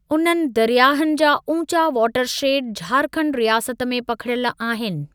उन्हनि दरियाहनि जा ऊचा वाटर शेडि झारखंड रियासत में पखिड़ियल आहिनि।